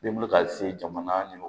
Ne bolo ka se jamana